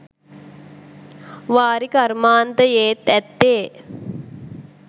වාරි කර්මාන්තයේත් ඇත්තේ